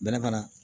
Bɛnɛ mana